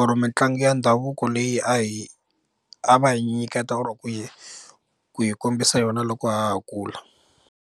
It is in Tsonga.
or mitlangu ya ndhavuko leyi a hi a va yi nyiketa or ku yi ku yi kombisa yona loko ha ha kula.